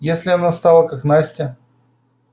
если она стала как настя